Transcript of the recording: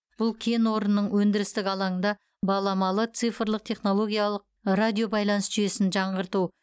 бұл кен орнының өндірістік алаңында баламалы цифрлық технологиялық радиобайланыс жүйесін жаңғырту